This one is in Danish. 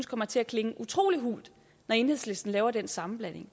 kommer til at klinge utrolig hult når enhedslisten laver den sammenblanding